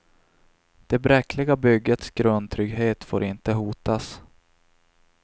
Det bräckliga byggets grundtrygghet får inte hotas.